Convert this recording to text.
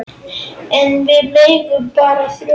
En við eigum bara þrjú.